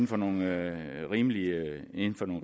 på nogle rimelige